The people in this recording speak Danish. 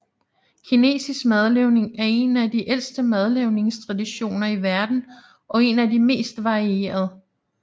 Kinesisk madlavning er en af de ældste madlavningstraditioner i verden og en af de mest varierede